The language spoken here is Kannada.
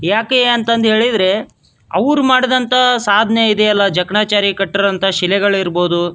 ಯಕಯ್ಯ ಅಂತಂದ್ ಹೇಳಿದ್ರೆ ಅವ್ರು ಮಾಡಿದಂತ ಸಾದ್ನೆ ಇದೆಯಲ್ಲ ಜಕಣಾಚಾರಿ ಕಟ್ಟ್ರೋಂತ ಶಿಲೆಗಳು ಇರ್ಬೊದು --